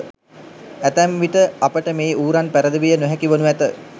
ඇතැම් විට අපට මේ ඌරන් පැරදවිය නොහැකි වනු ඇත.